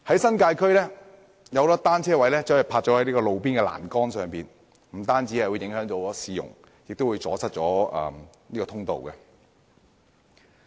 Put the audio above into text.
新界區有很多單車停泊在路邊欄杆，不但影響市容，更會阻塞通道。